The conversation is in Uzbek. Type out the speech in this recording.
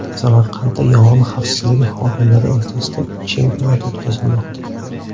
Samarqandda yong‘in xavfsizligi xodimlari o‘rtasida chempionat o‘tkazilmoqda .